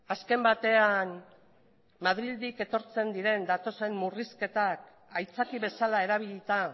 azken batean madriletik datozen murrizketak aitzakia bezala erabilita